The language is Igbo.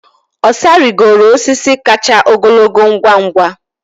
Osa rigoro osisi kacha ogologo ngwa ngwa.